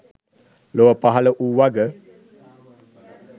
ලොව පහළ වූ වග